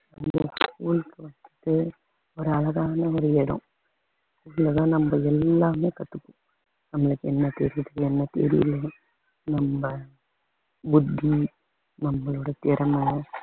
ஒரு அழகான ஓர் இடம் இதுலதான் நம்ம எல்லாமே கத்துப்போம் நம்மளுக்கு என்ன தெரியுது என்ன தெரியும் நம்ம புத்தி நம்மளோட திறமை